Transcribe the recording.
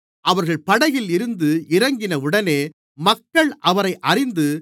அவர்கள் படகில் இருந்து இறங்கினவுடனே மக்கள் அவரை அறிந்து